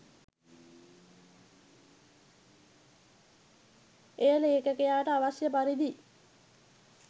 එය ලේඛකයාට අවශ්‍ය පරිදි